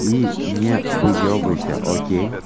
и не выебывайся окей